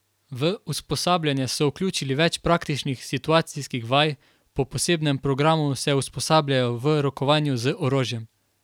V usposabljanje so vključili več praktičnih situacijskih vaj, po posebnem programu se usposabljajo v rokovanju z orožjem.